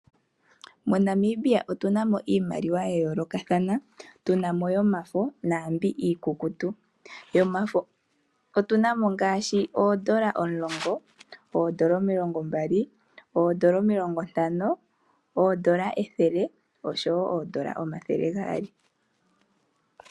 MoNamibia otuna mo iimaliwa ya yoolokathana tuna mo yomafo naambi iikukutu, yomafo otuna mo ngaashi oondola omulongo, oondola omilongo mbali, oondola omilongo ntano, oondola ethele oshowo oondola omathele gaali.